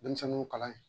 Denmisɛnninw kalan